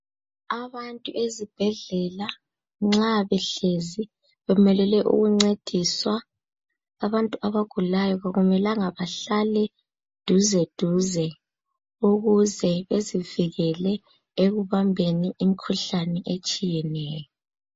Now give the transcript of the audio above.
Abantu ezibhedlela nxa behlezi bemelele ukuncediswa, abantu abagulayo kakumelanga bahlale duze duze ukuze bezivikele ekubambeni imikhuhlane etshiyeneyo.